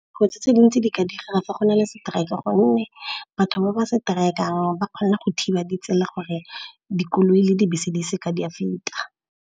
Kotsi tse dintsi di ka dira fa go na le seteraeke, gonne batho ba ba seteraekeang ba kgona go thiba ditsela gore dikoloi le dibese di seke di a feta.